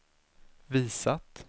visat